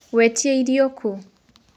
Wetĩa irio kũ?